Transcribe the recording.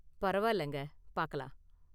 பரவாயில்லைங்க, பாக்கலாம்!